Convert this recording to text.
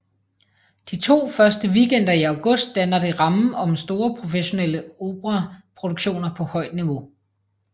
De to første weekender i august danner det rammen om store professionelle operaproduktioner på højt niveau